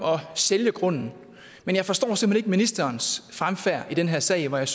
sælge grunden men jeg forstår simpelt ministerens fremfærd i den her sag hvor jeg